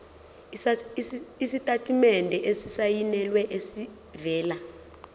isitatimende esisayinelwe esivela